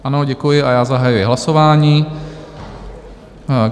Ano, děkuji, a já zahajuji hlasování.